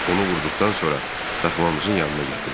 Onu vurduqdan sonra daxmamızın yanına gətirdim.